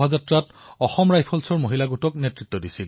কবিতা তিৱাৰীৰ বাবে তেওঁৰ কন্যাই হল ভাৰতৰ লক্ষ্মী যি তেওঁৰো শক্তি